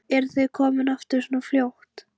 Eruð þið komnir aftur svona fljótt?